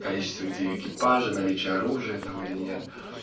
количество людей в экипаже наличие оружия там или нет